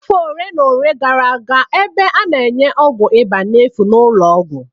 Afọ ole na ole gara aga, ebe a na-enye ọgwụ ịba n'efu n'ụlọọgwụ